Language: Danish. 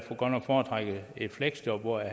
godt nok foretrække et fleksjob hvor jeg